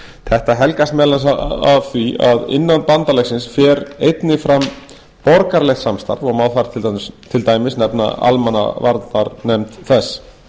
þetta helgast meðal annars af því að innan bandalagsins fer einnig fram borgaralegt samstarf og má þar til dæmis nefna almannavarnanefnd þess